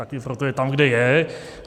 Také proto je tam, kde je.